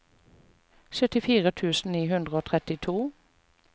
syttifire tusen ni hundre og trettito